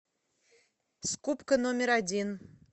скупка номер один